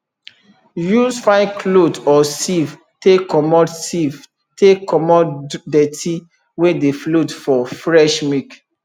use fine cloth or sieve take comot sieve take comot dirty wey dey float for fresh milk